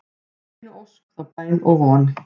þá einu ósk, þá bæn og von